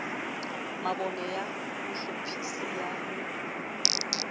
mabone ya bohlophisi ya ho